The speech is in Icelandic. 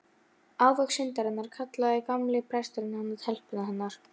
Ávöxt syndarinnar, kallaði gamli presturinn hana, telpuna hennar.